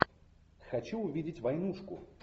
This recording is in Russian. хочу увидеть войнушку